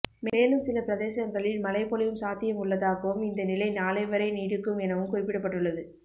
மேலும் சில பிரதேசங்களில் மழை பொழியும் சாத்தியம் உள்ளதாகவும் இந்த நிலை நாளை வரை நீடிக்கும் எனவும் குறிப்பிடப்பட்டுள்ளது